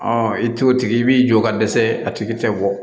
i t'o tigi i b'i jɔ ka dɛsɛ a tigi tɛ bɔ